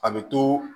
A bɛ to